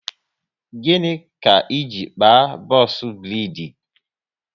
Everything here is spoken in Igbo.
Gịnị ka iji kpaa box braidi?